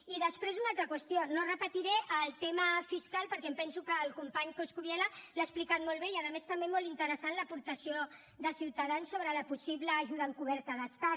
i després una altra qüestió no repetiré el tema fiscal perquè em penso que el company coscubiela l’ha explicat molt bé i a més també molt interessant l’aportació de ciutadans sobre la possible ajuda encoberta d’estat